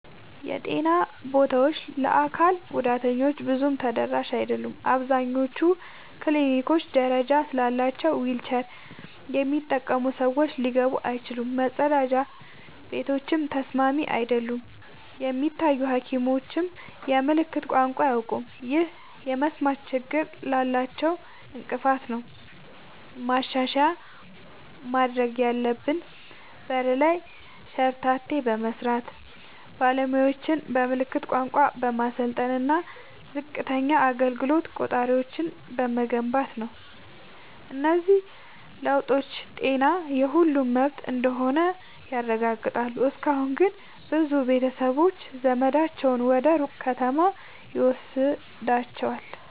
የጤና ቦታዎች ለአካል ጉዳተኞች ብዙም ተደራሽ አይደሉም። አብዛኞቹ ክሊኒኮች ደረጃ ስላላቸው ዊልቸር የሚጠቀሙ ሰዎች ሊገቡ አይችሉም፤ መጸዳጃ ቤቶችም ተስማሚ አይደሉም። የሚታዩ ሐኪሞችም የምልክት ቋንቋ አያውቁም፣ ይህም የመስማት ችግር ላላቸው እንቅፋት ነው። ማሻሻያ ማድረግ ያለብን በር ላይ ሸርተቴ በመስራት፣ ባለሙያዎችን በምልክት ቋንቋ በማሰልጠን እና ዝቅተኛ አገልግሎት ቆጣሪዎችን በመገንባት ነው። እነዚህ ለውጦች ጤና የሁሉም መብት እንደሆነ ያረጋግጣሉ። እስካሁን ግን ብዙ ቤተሰቦች ዘመዳቸውን ወደ ሩቅ ከተማ ይወስዷቸዋል።